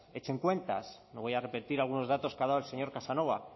echen cuentas no voy a repetir algunos datos que ha dado el señor casanova